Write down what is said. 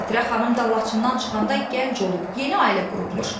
Xatirə xanım da Laçından çıxanda gənc olub, yeni ailə qurubmuş.